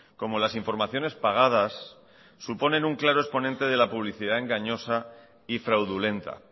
como las informaciones pagadas supone un claro exponente de la publicidad engañosa y fraudulenta